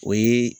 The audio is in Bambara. O ye